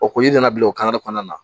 O ko i nana bila o kɔnɔna na